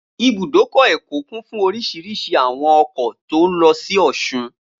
Ibùdókọ̀ Èkó kún fún oríṣiríṣi àwọn ọkọ̀ tó n lọ sí ọ̀sun